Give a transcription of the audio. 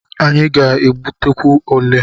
Anyị a ga-egbutekwu elé?